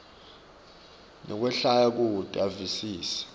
nekwehlwaya kute avisise